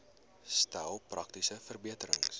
stel praktiese verbeterings